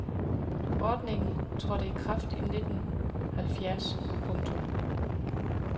Ordningen trådte i kraft i nitten halvfjerds . punktum